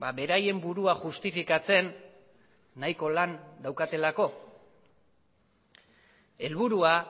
beraien burua justifikatzen nahiko lan daukatelako helburua